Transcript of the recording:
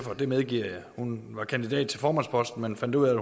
og det medgiver jeg hun var kandidat til formandsposten men fandt ud af